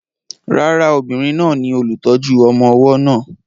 Rárá, obìnrin náà ni olùtọ́jú ọmọ ọwọ́ náà.